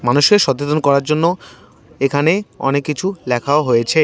মানুষকে সতেতন করার জন্য এখানে অনেককিছু লেখাও হয়েছে।